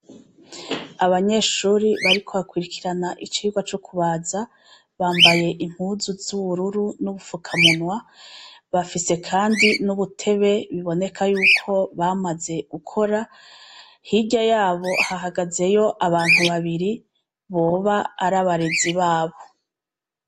Abanyeshure bariko bakwirikira icirwa co kubaza bambaye impuzu zubururu nubufuka munwa bafise kandi kubutebe buboneka yuko bamaze gukora hirya yaho hahagazeyo abantu babiri boba ari abarezi babo